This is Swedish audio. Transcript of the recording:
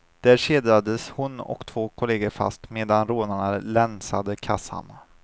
Där kedjades hon och två kolleger fast medan rånarna länsade kassan.